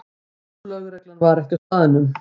Lögreglan var ekki á staðnum